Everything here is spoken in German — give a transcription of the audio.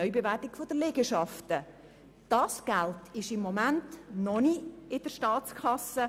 Dieses Geld befindet sich im Moment noch nicht in der Staatskasse.